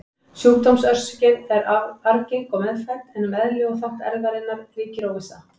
Sjúkdómsorsökin er arfgeng og meðfædd, en um eðli og þátt erfðarinnar ríkir óvissa.